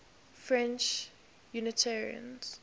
french unitarians